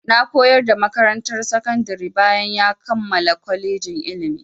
Na koyar a makarantar sakandari bayan ya kammala kolejin ilimi.